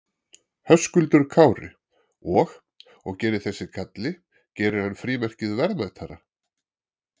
Höskuldur Kári: Og, og gerir þessi galli, gerir hann frímerkið verðmætara?